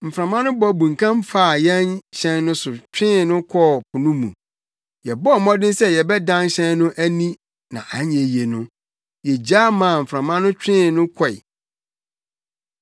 Mframa no bɔ bunkam faa yɛn hyɛn no so twee no kɔɔ po no mu. Yɛbɔɔ mmɔden sɛ yɛbɛdan hyɛn no ani na anyɛ yiye no, yegyae maa mframa no twee no kɔe.